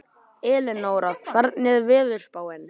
Elínora, hvernig er veðurspáin?